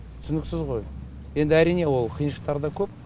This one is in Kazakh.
түсініксіз ғой енді әрине ол қиыншылықтар да көп